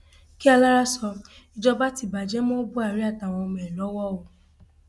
kí alára sọ ìjọba ti bàjẹ mọ buhari àtàwọn ọmọ ẹ lọwọ o